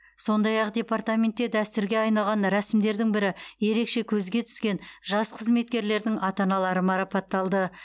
сондай ақ департаментте дәстүрге айналған рәсімдердің бірі ерекше көзге түскен жас қызметкерлердің ата аналары марапатталды